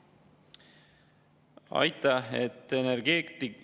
Aitäh!